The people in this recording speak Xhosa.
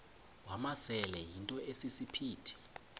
wamasele yinto esisiphithi